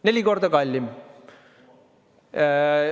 Neli korda kallim!